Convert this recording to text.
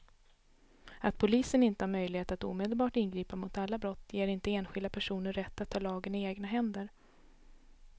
Att polisen inte har möjlighet att omedelbart ingripa mot alla brott ger inte enskilda personer rätt att ta lagen i egna händer.